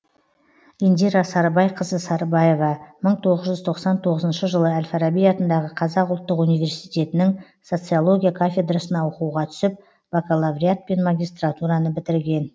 индира сарыбайқызы сарыбаева мың тоғыз жүз тоқсан тоғызыншы жылы әл фараби атындағы қазақ ұлттық университетінің социология кафедрасына оқуға түсіп бакалавриат пен магистратураны бітірген